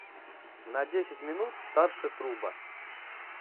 на десять минут старше труба